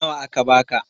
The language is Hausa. Nawa aka ba ka?